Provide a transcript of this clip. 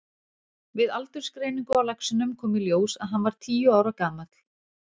Við aldursgreiningu á laxinum kom í ljós að hann var tíu ára gamall.